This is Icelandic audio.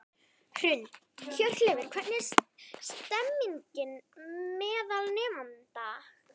Hrund: Hjörleifur, hvernig er stemningin meðal nemenda?